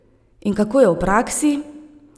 In kako je v praksi?